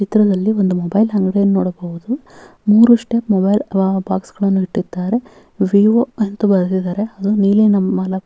ಚಿತ್ರದಲ್ಲಿ ಒಂದು ಮೊಬೈಲ್ ಅಂಗಡಿಯನ್ನು ನೋಡಬಹುದು ಮೂರೂ ಸ್ಟೆಪ್ ಮೊಬೈಲ್ ಬಾಕ್ಸ್ ಅನ್ನು ಇತ್ತಿದ್ದ್ದಾರೆ ವಿವೋ ಅಂತ ಬರೆದಿದ್ದರೆ ಅದು ನೀಲಿ ನಮ --